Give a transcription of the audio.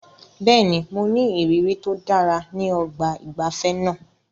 Bẹ́ẹ̀ni, mo ní ìrírí tó dára ní ọgbà ìgbafẹ́ náà.